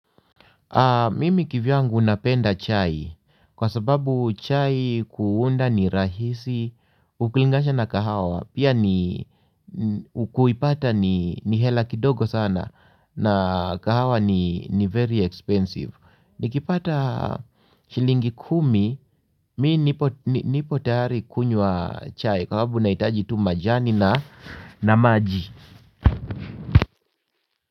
Mimi kivyangu napenda chai kwa sababu chai kuunda ni rahisi ukilingasha na kahawa pia ni kuipata ni hela kidogo sana na kahawa ni very expensive. Nikipata shilingi kumi mimi nipo tahari kunywa chai kwa sababu unaitaji tu majani na na maji.